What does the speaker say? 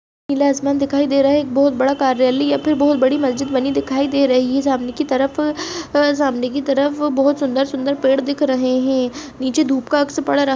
नीला आसमान दिखाई दे रहा है एक बहुत बाद कार्यली या फिर बहुत बड़ी मस्जिद बनी दिखाई दे रही है सामने की तरफ सामने की तरफ बहुत सुंदर-सुंदर पेड़ दिख रहे है नीचे धूप का अक्स पड़ रहा --